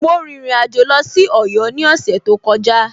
Mo rìnrìn àjò lọ sí Ọ̀yọ́ ní ọ̀sẹ̀ tó kọjá.